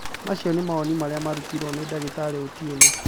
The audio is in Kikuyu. Macio ni mawoni marĩa mararũtiro ni Ndagĩtarĩ Otieno